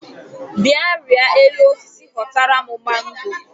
Bịa rịa elu osisi họtara m mango